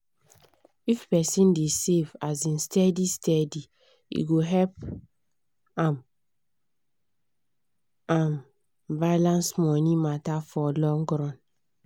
if person dey save um steady steady e go help um am balance money matter for long run.